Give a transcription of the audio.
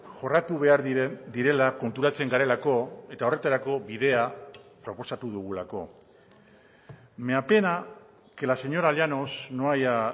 jorratu behar direla konturatzen garelako eta horretarako bidea proposatu dugulako me apena que la señora llanos no haya